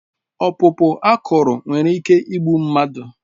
Ọkpụkpụ akụrụ nwere ike igbu mmadụ